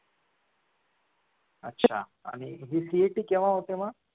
अच्छा आणि ही CET केव्हा होते मग